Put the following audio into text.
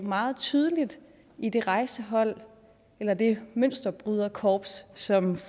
meget tydeligt i det rejsehold eller det mønsterbryderkorps som